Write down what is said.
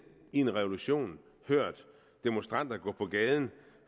i en revolution hørt demonstranter gå på gaden